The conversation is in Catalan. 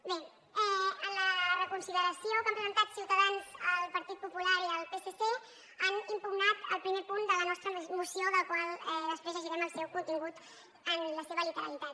bé en la reconsideració que han presentat ciutadans el partit popular i el psc han impugnat el primer punt de la nostra moció del qual després llegirem el contingut en la seva literalitat